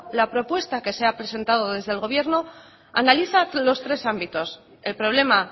la propuesta que se he presentado desde el gobierno analiza los tres ámbitos el problema